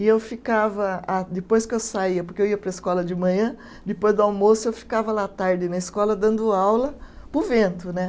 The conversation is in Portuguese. E eu ficava, ah depois que eu saía, porque eu ia para a escola de manhã, depois do almoço eu ficava lá à tarde na escola dando aula para o vento, né?